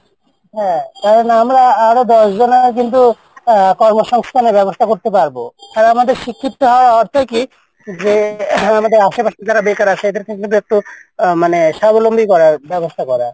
কর্ম সংস্থানের বেবস্থাও করতে পারবো তাই আমাদের আসে পাশে যে বাকার আছে এদেরকে একটু আহ মানে করার বেবস্থা করা।